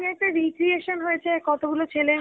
নিয়ে একটা recreation হয়ছে কতগুলো ছেলে